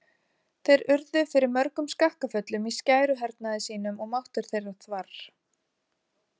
Þeir urðu fyrir mörgum skakkaföllum í skæruhernaði sínum og máttur þeirra þvarr.